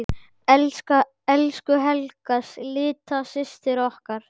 Elsku Helga litla systir okkar.